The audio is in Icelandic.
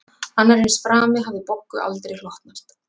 Annar eins frami hafði Boggu aldrei hlotnast